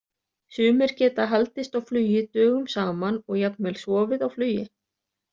Sumir geta haldist á flugi dögum saman og jafnvel sofið á flugi.